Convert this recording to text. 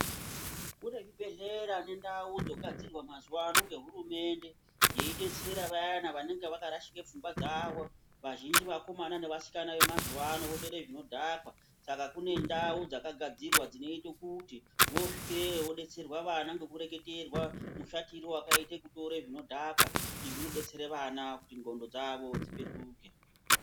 Kune zvibhedhlera nendau dzogadzirwa mazuwano ngehurumende yeidetsera vayana vanenge vakarashika pfungwa dzavo. Vazhinji vakomana nevasikana vemazuwano votore zvinodhaka saka kune ndau dzakagadzirwa dzinoite kuti vosvikeyo vodetserwa vana ngekureketerwa mushatiro wakaite kutore zvinodhaka izvi zvinodetsere vana kuti ndxondo dzavo dzipetuke.